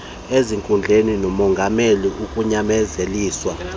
ezinkundleni nokongamela ukunyanzeliswa